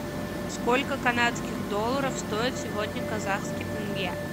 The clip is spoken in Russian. сколько канадских долларов стоит сегодня казахский тенге